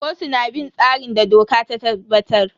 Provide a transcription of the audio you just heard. Kotu na bin tsarin da doka ta tabbatar.